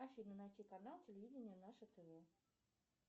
афина найти канал телевидения наше тв